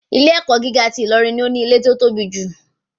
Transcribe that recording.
Ilé ẹ̀kọ́ gíga ti Ilorin ni ó ní ilẹ̀ tí ó tóbi jù.